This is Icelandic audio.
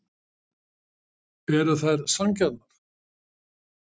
Eru þær sanngjarnar?